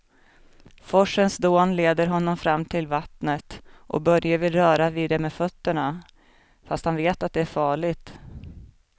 Forsens dån leder honom fram till vattnet och Börje vill röra vid det med fötterna, fast han vet att det är farligt.